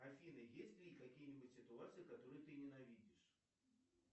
афина есть ли какие нибудь ситуации которые ты ненавидишь